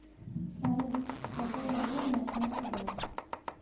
салют через какое время начнется дождь